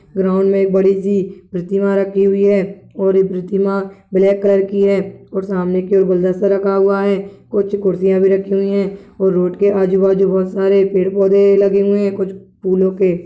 Ground में एक बड़ी सी प्रतिमा रखी हुई है और ये प्रतिमा ब्लैक कलर की है और सामने ओर गुलदस्ता रखा हुआ है कुछ कुर्सियां भी रखी हुई है और रोड के आजू- बाजू बहुत सारे पेड़ पौधे लगे हुए है। कुछ फूलों के--